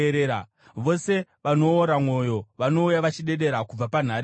Vose vanoora mwoyo; vanouya vachidedera kubva panhare dzavo.